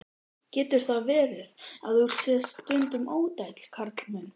Getur það verið, að þú sért stundum ódæll, Karl minn?